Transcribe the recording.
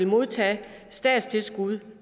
modtage statstilskud